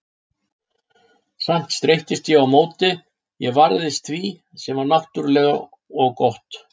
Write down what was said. Samt streittist ég á móti, ég varðist því sem var náttúrlegt og gott.